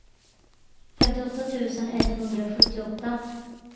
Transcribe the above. femtioåtta tusen etthundrasjuttioåtta